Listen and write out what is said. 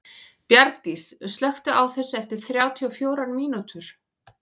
Bjargdís, slökktu á þessu eftir þrjátíu og fjórar mínútur.